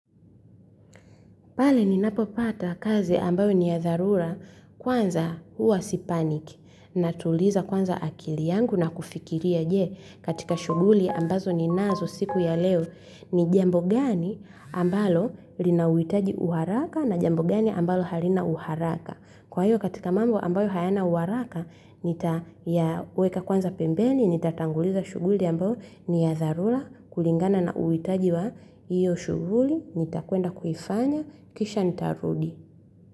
Pale ninapopata kazi ambayo ni ya dharura kwanza, huwa sipanic, natuliza kwanza akili yangu na kufikiria je, katika shughuli ambazo ninazo siku ya leo, ni jambo gani ambalo linauhitaji uharaka na jambo gani ambalo halina uharaka. Kwa hiyo katika mambo ambayo hayana uharaka, nitayaweka kwanza pembeni, nitatanguliza shughuli ambayo ni ya dharira kulingana na uhitaji wa hiyo shughuli, nitakwenda kuifanya, kisha nitarudi.